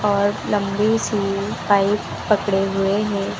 और लंबी सी पाइप पकड़े हुए हैं।